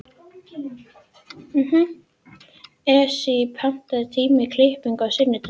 Esí, pantaðu tíma í klippingu á sunnudaginn.